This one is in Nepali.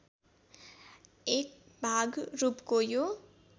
एकभाग रूपको यो